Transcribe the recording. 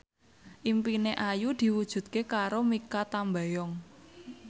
impine Ayu diwujudke karo Mikha Tambayong